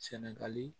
Sɛnɛgali